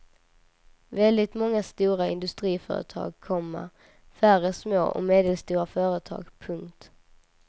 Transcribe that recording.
Väldigt många stora industriföretag, komma färre små och medelstora företag. punkt